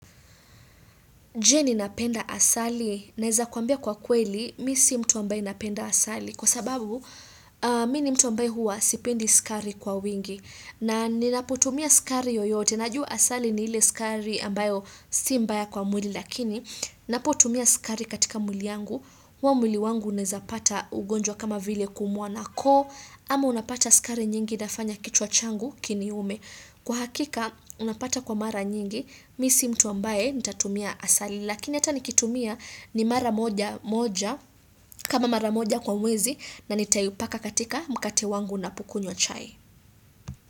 Je ninapenda asali naeza kuambia kwa kweli mi si mtu ambaye napenda asali kwa sababu mi ni mtu ambaye huwa sipendi sukari kwa wingi na ninapotumia sukari yoyote najua asali ni ile sukari ambayo si mbaya kwa mwili lakini ninapotumia sukari katika mwili yangu huo mwili wangu naeza pata ugonjwa kama vile kuumwa na koo ama unapata sukari nyingi infanya kichwa changu kiniume. Kwa hakika unapata kwa mara nyingi mi si mtu ambaye nitatumia asali lakini hata nikitumia ni mara moja moja kama mara moja kwa mwezi na nitaiupaka katika mkate wangu napokunywa chai.